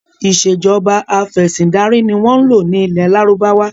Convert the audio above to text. Ìsèjọba afẹ̀sindarí ni wọn ń lò ní ilẹ́ Lárúbáwá